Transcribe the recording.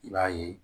I b'a ye